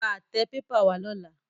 Ra àtẹ pépà wá lọ́la.